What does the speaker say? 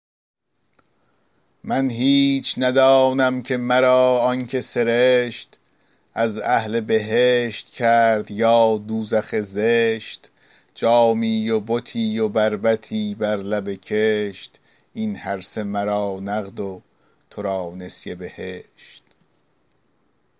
من هیچ ندانم که مرا آن که سرشت از اهل بهشت کرد یا دوزخ زشت جامی و بتی و بربطی بر لب کشت این هرسه مرا نقد و تو را نسیه بهشت